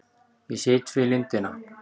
Ég sit við lindina.